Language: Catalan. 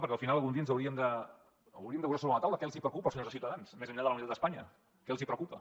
perquè al final algun dia hauríem de posar sobre la taula què els preocupa als senyors de ciutadans més enllà de la unitat d’espanya què els preocupa